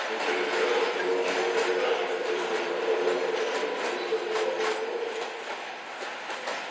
слушай мне кажется что у нашего старикашки который здесь заправляет планетой есть свои слабые стороны